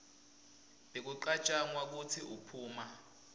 bekucatjwanga kwekutsi uphuma